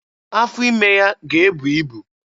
Afọ ime ya ga-ebu ibu.